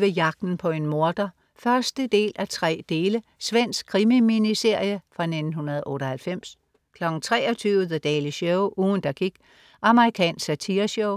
21.00 Jagten på en morder 1:3. Svensk krimi-miniserie fra 1998 23.00 The Daily Show. Ugen der gik. Amerikansk satireshow